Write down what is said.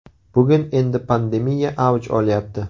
Bugun endi pandemiya avj olyapti.